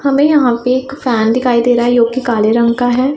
हमें यहां पे एक फैन दिखाई दे रहा है जो कि काले रंग का है।